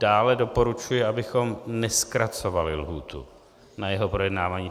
Dále doporučuji, abychom nezkracovali lhůtu na jeho projednávání.